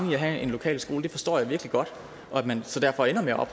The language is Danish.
med at have en lokal skole forstår jeg virkelig godt og at man derfor ender med at